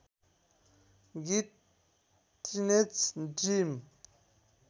गीत teenage dream